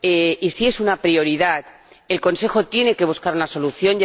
y si es una prioridad, el Consejo tiene que buscar una solución.